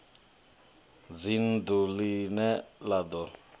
dzinn ḓu ḽine ḽa ḓo